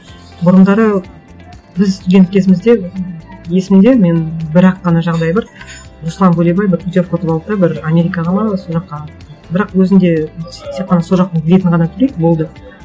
бұрындары біз студент кезімізде есімде менің бір ақ қана жағдай бар руслан бөлебай бір путевка ұтып алды да бір америкаға ма сол жаққа бірақ өзінде тек қана сол жақтың билетін ғана төлейді болды